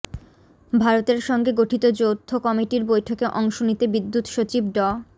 ভারতের সঙ্গে গঠিত যৌথ কমিটির বৈঠকে অংশ নিতে বিদ্যুত্সচিব ড